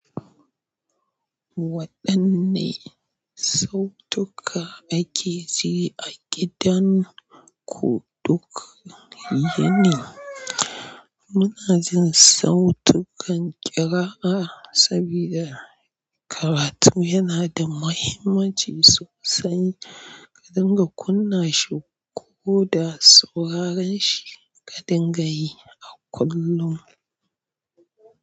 Waɗanne sautuka ake ji a gidan ku duk yini? Muna jin sautukan ƙira'a saboda karatu yana da mahimmanci sosai, ka dinga kunna shi ko da sauraron shi ka dinga yi a kullum.